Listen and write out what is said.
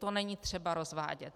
To není třeba rozvádět.